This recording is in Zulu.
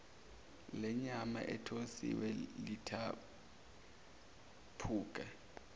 lenyama ethosiwe lithaphuka